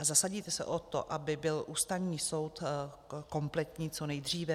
A zasadíte se o to, aby byl Ústavní soud kompletní co nejdříve?